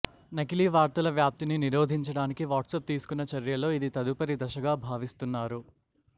నకిలీ వార్తల వ్యాప్తిని నిరోధించడానికి వాట్సాప్ తీసుకున్నచర్యల్లో ఇది తదుపరి దశగా భావిస్తున్నారు